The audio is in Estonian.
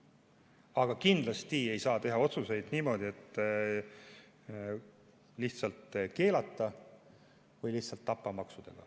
Aga kindlasti ei saa teha otsuseid niimoodi, et lihtsalt keelata või lihtsalt tappa maksudega.